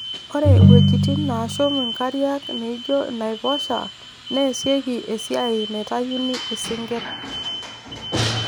Ore ewuejitin naashum inkariak nijio inaiposha neesieki esiai naitayuni isinkirr